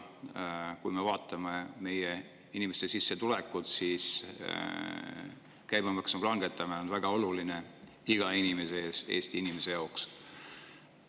Kui me vaatame meie inimeste sissetulekuid, siis saame aru, et käibemaksu langetamine on väga oluline iga Eesti inimese jaoks.